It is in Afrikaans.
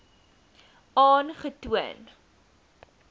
aangetoon